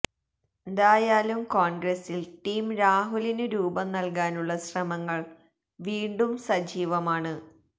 ന്തായാലും കോൺഗ്സിൽ ടീം രാഹുലിനു രൂപം നൽകാനുള്ള ശ്രമങ്ങൾ വീണ്ടും സജീവമാണ്